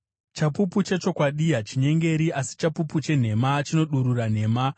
Chapupu chechokwadi hachinyengeri, asi chapupu chenhema chinodurura nhema.